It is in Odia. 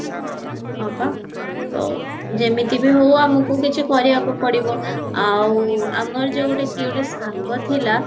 ହଁ ପା ତ ଯେମିତିବି ହଉ ଆମକୁ କିଛି କରିବା ପାଇଁ ପଡିବ ଆମର ଯୋଉ କିଏ ଗୋଟେ ସାଙ୍ଗ ଥିଲା